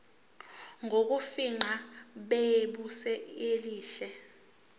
bokufingqa busezingeni elihle